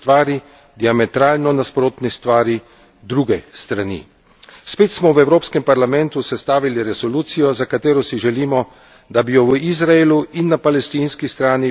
Spet smo v Evropskem parlamentu sestavili resolucijo, za katero si želimo, da bi jo v Izraelu in na palestinski strani videli kot politično korektno, dobronamerno in uravnovešeno.